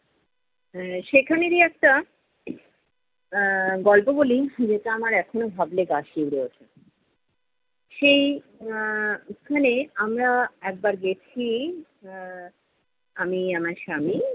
এর সেখানেরই একটা এর গল্প বলি, যেটা আমার এখনও ভাবলে গা শিউরে উঠে। সেই আহ ওখানে আমরা একবার গেছি, আহ আমি আমার স্বামী